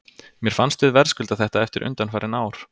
Mér fannst við verðskulda þetta eftir undanfarin ár.